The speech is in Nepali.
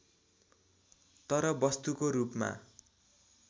तर वस्तुको रूपमा